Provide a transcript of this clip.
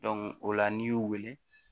o la n'i y'u wele